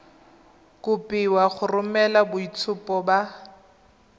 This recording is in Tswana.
kopiwa go romela boitshupo ba